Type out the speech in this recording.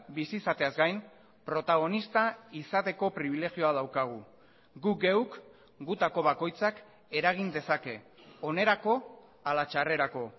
bizi izateaz gain protagonista izateko pribilegioa daukagu guk geuk gutako bakoitzak eragin dezake onerako hala txarrerako